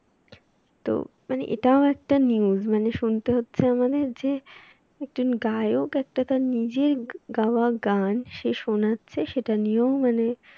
তো মানে এটাও একটা news মানে শুনতে হচ্ছে আমাদের যে একজন গায়ক একটা তার নিজের গাওয়া গান সেই শোনাচ্ছে সেটা নিয়েও